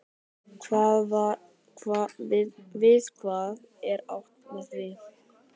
Við hvað er átt með því?